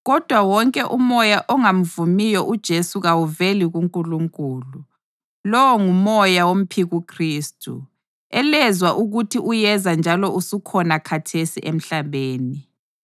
kodwa wonke umoya ongamvumiyo uJesu kawuveli kuNkulunkulu. Lowo ngumoya womphikuKhristu, elezwa ukuthi uyeza njalo osukhona khathesi emhlabeni.